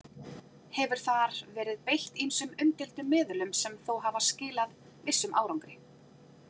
Hefur þar verið beitt ýmsum umdeildum meðulum sem þó hafa skilað vissum árangri.